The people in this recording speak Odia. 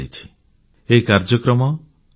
ସେଠାରେ ଏହି କାର୍ଯ୍ୟକ୍ରମ pନ୍